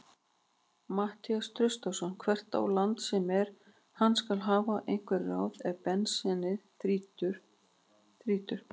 Matthías Traustason hvert á land sem er, hann skal hafa einhver ráð ef bensínið þrýtur.